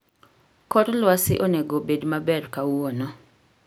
Kor lwasi onego bed maber kawuono